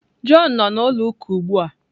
Jọn nọ na ụlọ uka ugbụa.